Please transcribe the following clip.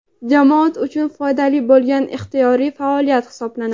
jamoat uchun foydali bo‘lgan ixtiyoriy faoliyat hisoblanadi.